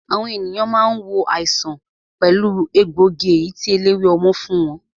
Àwọn ènìyàn máa ń wo àìsàn pẹ̀lú egbòogi èyí tí eléwé ọmọ fún wọn